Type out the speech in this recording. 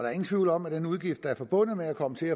er ingen tvivl om at den udgift der er forbundet med at komme til